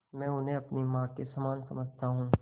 मैं उन्हें अपनी माँ के समान समझता हूँ